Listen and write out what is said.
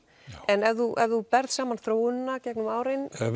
en ef þú ef þú berð saman þróunina gegnum árin